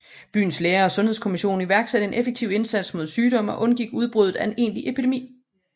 Byens læger og Sundhedskommission iværksatte en effektiv indsats mod sygdommen og undgik udbruddet af en egentlig epidemi